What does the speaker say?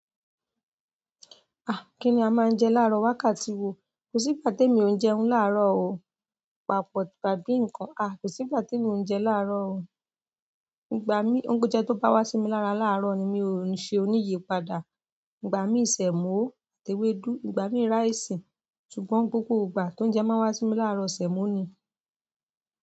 Ah! Kí ni a máa ń jẹ láàárọ̀ wákàtí wo? Ko si ìgbà temi o kin jẹun laaro o pàápọ̀ tàbí nǹkan. Ah! Kò sí ìgbà te mi oúnjẹ láàárọ̀ o. Ìgbà mí, oúnjẹ tó bá wá sí mi lára láàárọ̀ ni mi ò ṣe oníyì padà. Ìgbà mí sẹ̀mọ́ àti ewédú, ìgbà míí rice. Ṣùgbọ́n gbogbo ìgbà tóuńjẹ máa wá sí mi láàárọ̀ sẹ̀mọ́ ni.